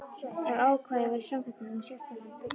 ef ákvæði er í samþykktum um sérstakan byggingarsjóð.